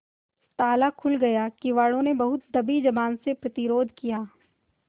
ताला खुल गया किवाड़ो ने बहुत दबी जबान से प्रतिरोध किया